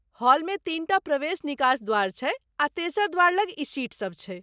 हॉलमे तीनटा प्रवेश निकास द्वार छै, आ तेसर द्वार लग ई सीट सब छै।